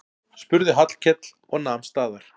spurði Hallkell og nam staðar.